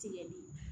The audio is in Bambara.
Tigɛli